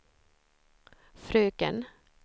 fröken